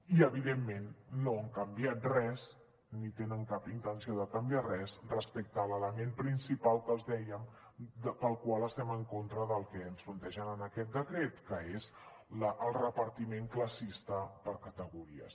i evidentment no han canviat res ni tenen cap intenció de canviar res respecte a l’element principal que els dèiem pel qual estem en contra del que ens plantegen en aquest decret que és el repartiment classista per categories